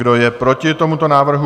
Kdo je proti tomuto návrhu?